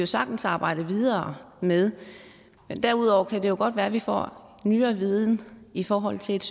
sagtens arbejde videre med derudover kan det jo godt være at vi får ny viden i forhold til et